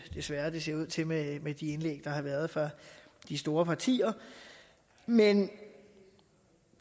desværre det ser ud til med de indlæg der har været fra de store partier men